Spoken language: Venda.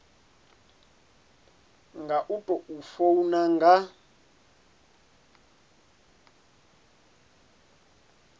nga u tou funa nga